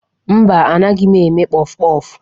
Mba, anaghị m eme kpọfụ kpọfụ.